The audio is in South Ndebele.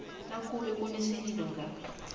nakube kunesililo ngaso